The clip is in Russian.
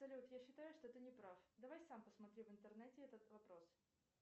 салют я считаю что ты не прав давай сам посмотри в интернете этот вопрос